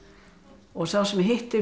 og sá sem hitti fleiri